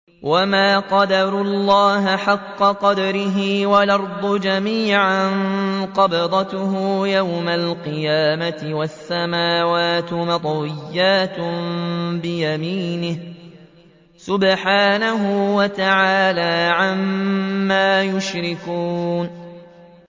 وَمَا قَدَرُوا اللَّهَ حَقَّ قَدْرِهِ وَالْأَرْضُ جَمِيعًا قَبْضَتُهُ يَوْمَ الْقِيَامَةِ وَالسَّمَاوَاتُ مَطْوِيَّاتٌ بِيَمِينِهِ ۚ سُبْحَانَهُ وَتَعَالَىٰ عَمَّا يُشْرِكُونَ